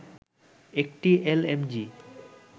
একটি এলএমজি